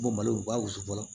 Bɔ malo u b'a wusu fɔlɔ